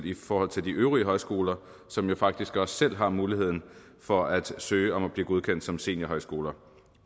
i forhold til de øvrige højskoler som jo faktisk også selv har muligheden for at søge om at blive godkendt som seniorhøjskoler